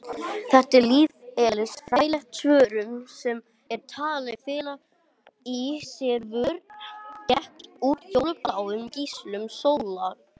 Þetta er lífeðlisfræðileg svörun sem er talin fela í sér vörn gegn útfjólubláum geislum sólar.